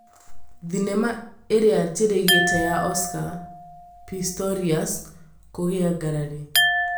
Thenema ĩrĩa njĩrĩgĩrĩre ya Oscar Pistorius kũgĩa ngarari